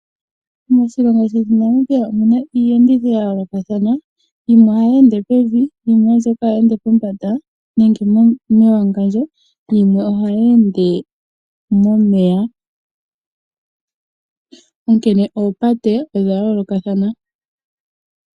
Moshilongo shetu Namibia omuna iiyenditho yayoolokathana yimwe ohayi ende pevi, yimwe oombyoka hayi ende pombanda nenge mewangandjo, yimwe ohayi ende momeya, onkene oopate odha yoolokathana.